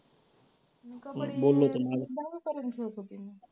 मी कबड्डी दहावीपर्यंत खेळत होते मी.